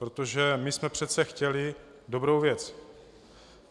Protože my jsme přece chtěli dobrou věc.